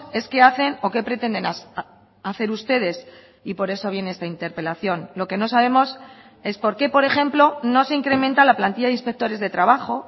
es qué hacen o qué pretenden hacer ustedes y por eso viene esta interpelación lo que no sabemos es por qué por ejemplo no se incrementa la plantilla de inspectores de trabajo